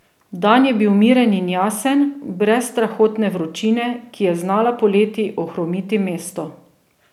Dan je bil miren in jasen, brez strahotne vročine, ki je znala poleti ohromiti mesto.